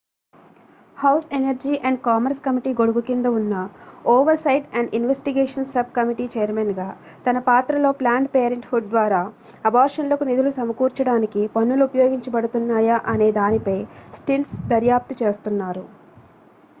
house energy and commerce committee గొడుగు కింద ఉన్న oversight and investigations subcommittee chairman గా తన పాత్రలో ప్లాన్డ్ పేరెంట్ హుడ్ ద్వారా అబార్షన్లకు నిధులు సమకూర్చడానికి పన్నులు ఉపయోగించబడుతున్నాయా అనే దానిపై స్టిర్న్స్ దర్యాప్తు చేస్తున్నారు